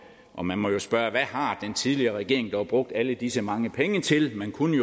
og man må jo spørge hvad har den tidligere regering dog brugt alle disse mange penge til man kunne